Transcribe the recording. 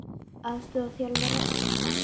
Aðstoðarþjálfari ársins?